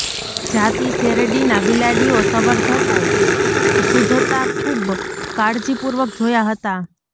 જાતિ શેરડીના બિલાડીઓ સંવર્ધકો શુદ્ધતા ખૂબ કાળજીપૂર્વક જોયા હતા